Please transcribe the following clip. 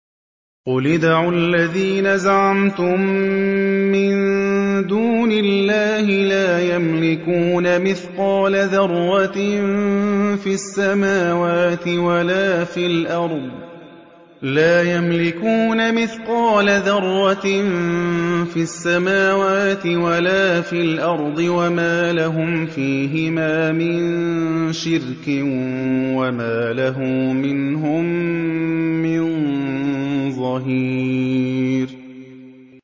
قُلِ ادْعُوا الَّذِينَ زَعَمْتُم مِّن دُونِ اللَّهِ ۖ لَا يَمْلِكُونَ مِثْقَالَ ذَرَّةٍ فِي السَّمَاوَاتِ وَلَا فِي الْأَرْضِ وَمَا لَهُمْ فِيهِمَا مِن شِرْكٍ وَمَا لَهُ مِنْهُم مِّن ظَهِيرٍ